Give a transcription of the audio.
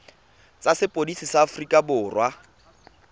tsa sepodisi sa aforika borwa